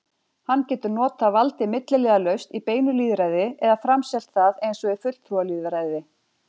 Hann getur notað valdið milliliðalaust í beinu lýðræði eða framselt það eins og í fulltrúalýðræði.